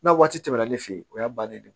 N'a waati tɛmɛna ne fɛ yen o y'a bannen de ye